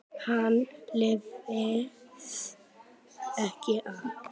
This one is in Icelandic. Hann lifði ekki af.